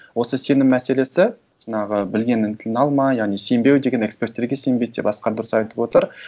осы сенім мәселесі жаңағы білгеннің тілін алма яғни сенбеу деген эксперттерге сенбейді деп асқар дұрыс айтып отыр